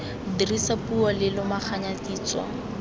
dirisa puo re lomaganya kitso